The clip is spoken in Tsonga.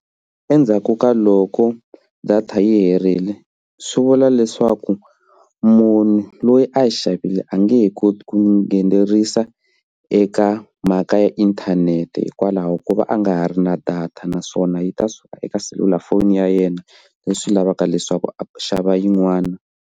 Endzhaku ka loko data yi herile swi vula leswaku munhu loyi a yi xavile a nge he koti ku nghenelerisa eka mhaka ya inthanete hikwalaho ko va a nga ha ri na data naswona yi ta suka eka selulafoni ya yena leswi lavaka leswaku a xava yin'wana.